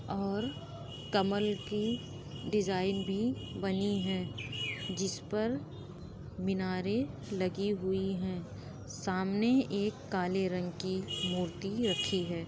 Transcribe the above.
और कमल की डिज़ाइन भी बनी है। जिस पर मिनारें लगी हुई हैं। सामने एक काले रंग की मूर्ति रखी है।